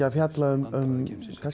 að fjalla um